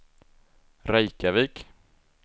Reykjavik